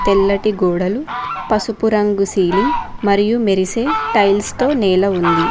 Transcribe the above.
తెల్లటి గోడలు పసుపు రంగు సీలింగ్ మరియు మెరిసే టైల్స్ తో నేల ఉంది.